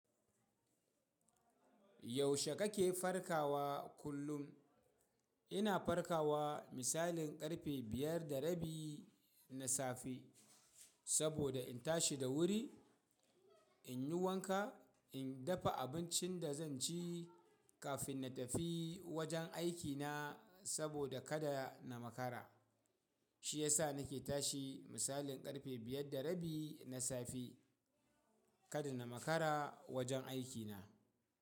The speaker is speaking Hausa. Yaushe kake farkawa kullum? Ina farkawa misalin ƙarfe biyar da rabi na safe saboda in tashi da wuri, in yi wanka, in dafa abincin da zan ci kafin na tafi wajen aikina saboda kada na makara. Shi ya sa nake tashi misalin ƙarfe biyar da rabi na safe kada na makara wajen aikina.